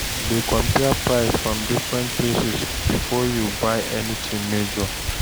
Dey compare price from different places before you buy anything major